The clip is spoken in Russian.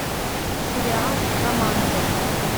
сериал романовы